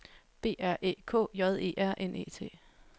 B R Æ K J E R N E T